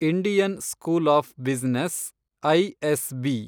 Indian school of business, ISB